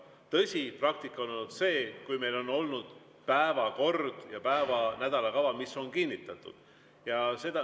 Tõsi, praktika on olnud see, et meil on olnud päevakord ja nädalakava, mis on kinnitatud.